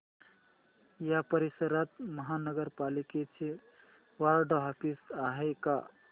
या परिसरात महानगर पालिकेचं वॉर्ड ऑफिस आहे का